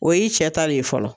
O y'i cɛ ta le ye fɔlɔ